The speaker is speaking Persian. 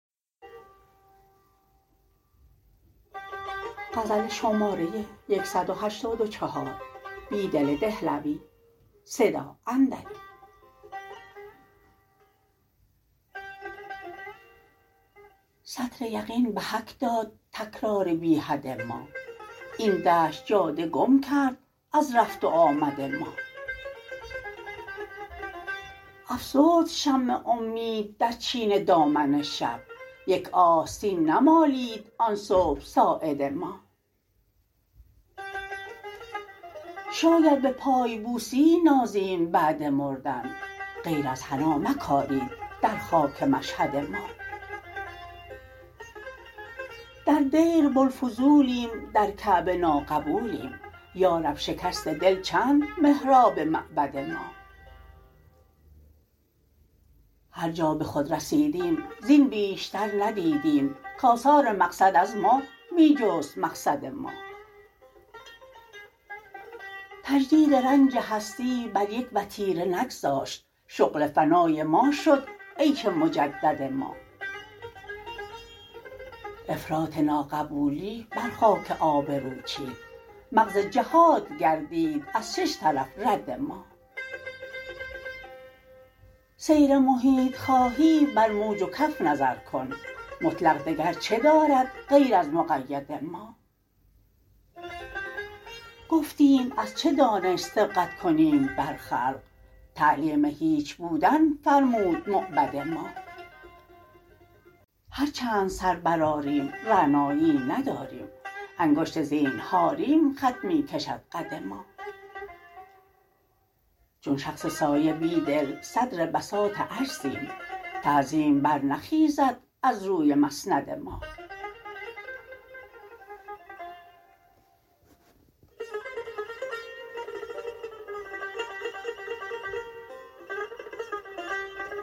سطر یقین به حک داد تکرار بی حد ما این دشت جاده گم کرد از رفت و آمد ما افسرد شمع امید در چین دامن شب یک آستین نمالید آن صبح ساعد ما شاید به پایبوسی نازیم بعد مردن غیر از حنا مکارید در خاک مشهد ما در دیر بوالفضولیم در کعبه ناقبولیم یا رب شکست دل چند محراب معبد ما هرجا به خود رسیدیم زین بیشتر ندیدیم که آثار مقصد از ما می جست مقصد ما تجدید رنج هستی بر یک وتیره نگذاشت شغل فنای ما شد عیش مجدد ما افراط ناقبولی بر خاک آبرو چید مغز جهات گردید از شش طرف رد ما سیر محیط خواهی بر موج و کف نظر کن مطلق دگر چه دارد غیر از مقید ما گفتیم از چه دانش سبقت کنیم بر خلق تعلیم هیچ بودن فرمود موبد ما هرچند سر برآریم رعنایی ای نداریم انگشت زینهاریم خط می کشد قد ما چون شخص سایه بیدل صدر بساط عجزیم تعظیم برنخیزد از روی مسند ما